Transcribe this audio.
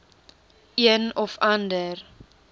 een of ander